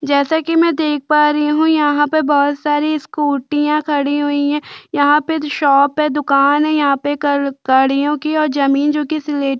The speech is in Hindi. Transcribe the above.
जैसा की मै देख पा रही हू यहाँ पर बहोत सारी स्कुटीया खड़ी हुई है यहाँ पे जो शॉप है दुकान है यहाँ पे कल गाड़ियों की या जमीन जो कि सिलेटी --